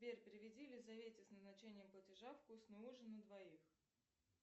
сбер переведи лизавете с назначением платежа вкусный ужин на двоих